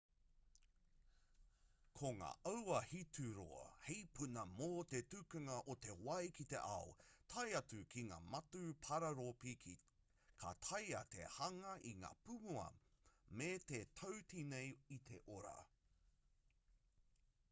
ko ngā auahitūroa hei puna mō te tukunga o te wai ki te ao tae atu ki ngā matū pararopi ka taea te hanga i ngā pūmua me te tautīnei i te ora